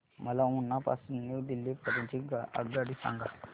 मला उना पासून न्यू दिल्ली पर्यंत ची आगगाडी सांगा